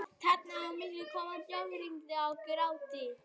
Þarna á milli koma blágrýti og grágrýti.